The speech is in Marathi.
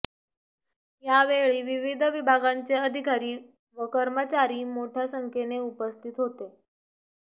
यावेळी विविध विभागांचे अधिकारी व कर्मचारी मोठ्या संख्येने उपस्थित होते